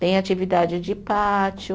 Tem atividade de pátio.